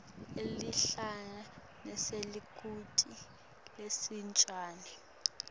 likhehla nesalukati lesincane